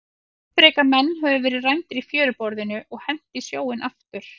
Skipreika menn höfðu verið rændir í fjöruborðinu og hent í sjóinn aftur.